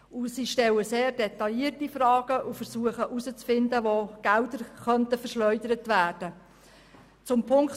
Sie stellen sehr detaillierte Fragen und versuchen herauszufinden, wo Mittel verschwendet werden könnten.